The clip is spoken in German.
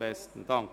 Besten Dank.